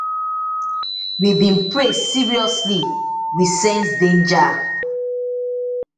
we bin pray seriously we sense danger